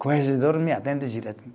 Corregedor me atende direto